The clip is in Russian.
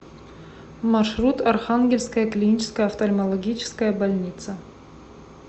маршрут архангельская клиническая офтальмологическая больница